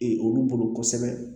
Ee olu bolo kosɛbɛ